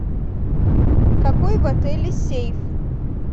какой в отеле сейф